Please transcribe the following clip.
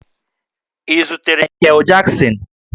Ị zutere Mikel Jaksin?